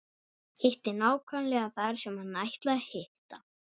Hitti nákvæmlega þar sem hann ætlaði að hitta.